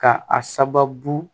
Ka a sababu